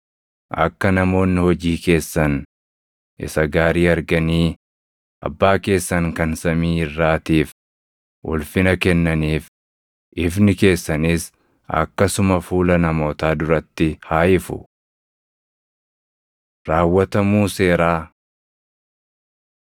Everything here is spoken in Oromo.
Akka namoonni hojii keessan isa gaarii arganii abbaa keessan kan samii irraatiif ulfina kennaniif ifni keessanis akkasuma fuula namootaa duratti haa ifu. Raawwatamuu Seeraa